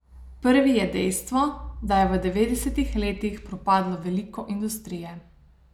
Prvi je dejstvo, da je v devetdesetih letih propadlo veliko industrije.